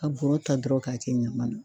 Ka bɔrɔ ta dɔrɔn k'a kɛ ɲaman na.